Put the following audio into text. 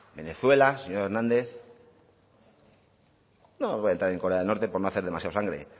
venezuela señor hernández no voy a entrar en corea del norte por no hacer demasiada sangre